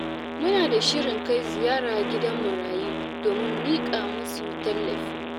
Muna da shirin kai ziyara gidan marayu domin miƙa musu tallafi.